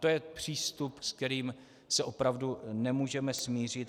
To je přístup, se kterým se opravdu nemůžeme smířit.